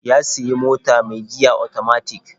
Ya sayi mota mai giya otomatik.